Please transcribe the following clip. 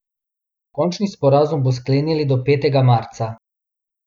Končni sporazum naj bi sklenili do petega marca.